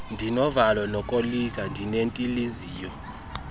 ndinovalo lokoyika ndinentiliziyo